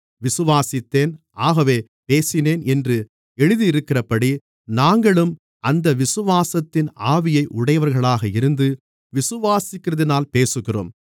விசுவாசித்தேன் ஆகவே பேசினேன் என்று எழுதியிருக்கிறபடி நாங்களும் அந்த விசுவாசத்தின் ஆவியை உடையவர்களாக இருந்து விசுவாசிக்கிறதினால் பேசுகிறோம்